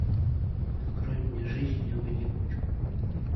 открой мне жизнь не в одиночку